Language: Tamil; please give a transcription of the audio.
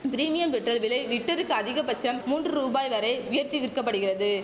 பிரிமியம் பெட்ரோல் விலை லிட்டருக்கு அதிகபட்சம் மூன்று ரூபாய் வரை உயர்த்தி விற்கப்படுகிறது